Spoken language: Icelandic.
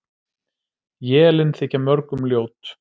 Élin þykja mörgum ljót.